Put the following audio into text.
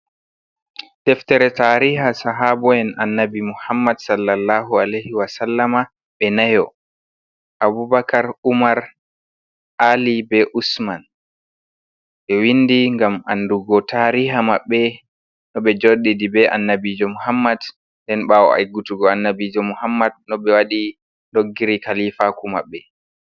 Deftere tariha sahabo’en annabi muhammad sallallahu aleihi wasalama be nayo abubakar umar ali be usman ɓe windi ngam andugo tariha maɓɓe no ɓe joɗiri be annabijo muhammad den bawo heutugo annabijo muhammad no ɓe waɗi doggiri kalifaku maɓɓe.